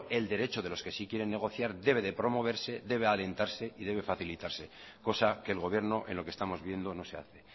el derecho de los que sí quieren negociar debe de promoverse debe alentarse y debe facilitarse cosa que el gobierno en lo que estamos viendo no se hace